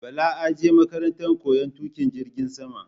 Bala aje makaranta koyan tuƙin jirgin saman